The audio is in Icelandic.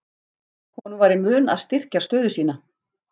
Honum var í mun að styrkja stöðu sína.